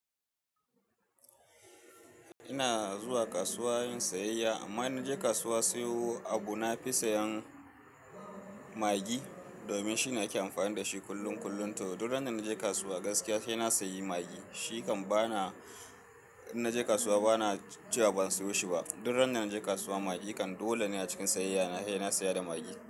Ina zuwa kasuwa yin sayayya amma ina je kasuwa sayo abu na fi sayen maggi domin shine ake amfani da shi kullum kullum. To duk ran da na je kasuwa gaskiya sai na sayi maggi. Shi kan ba na, in na je kasuwa ba na cewa ban sayo shi ba. Duk ran da na je kasuwa maggi kan dole ne a cikin sayayya na, sai na saya da maggi.